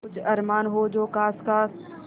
कुछ अरमान हो जो ख़ास ख़ास